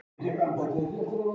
Ég horfi niður fyrir mig.